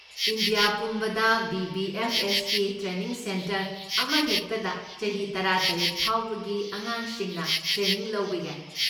India ꯄꯨꯝꯕꯗ ꯕꯤ.ꯕꯤ.ꯑꯦꯐ.ꯑꯦꯁ.ꯀꯤ training centre ꯑꯃꯍꯦꯛꯇꯗ ꯆꯍꯤ ꯇꯔꯥꯇꯔꯦꯠ ꯐꯥꯎꯕꯒꯤ ꯑꯉꯥꯡꯁꯤꯡꯅ ꯇ꯭ꯔꯦꯅꯤꯡ ꯂꯧꯕ ꯌꯥꯏ꯫